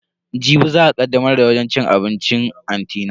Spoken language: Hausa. Jibi za a kaddamar da wajen cin abincin anti na.